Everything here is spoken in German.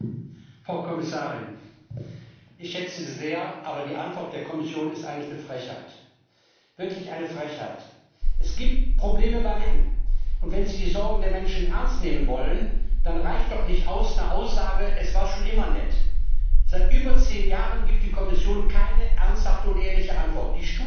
Frau Präsidentin! Frau Kommissarin, ich schätze Sie sehr, aber die Antwort der Kommission ist eigentlich eine Frechheit, wirklich eine Frechheit. Es gibt Probleme bei Menschen nicht bei allen und wenn sie die Sorgen der Menschen ernst nehmen wollen, dann reicht noch nicht die Aussage Es war schon immer nett. Seit über zehn Jahren gibt die Kommission keine ernsthafte und ehrliche Antwort.